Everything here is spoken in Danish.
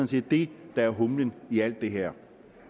set det der er humlen i alt det her